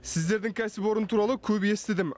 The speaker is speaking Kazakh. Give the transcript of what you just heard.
сіздердің кәсіпорын туралы көп естідім